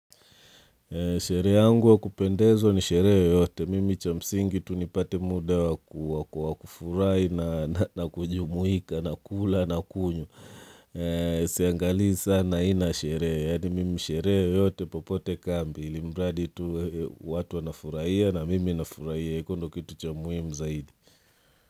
Sherehe yangu wakupendezwa ni sherehe yoyote. Mimi cha msingi tu nipate muda wakufurahi nakujumuika na kula na kunywa. Siangali sana aina ya sherehe Mimi sherehe yoyote popote kambi. Ilimradi tu watu wanafurahia na mimi nafurahia. Huo ndio kitu cha muhimu zaidi.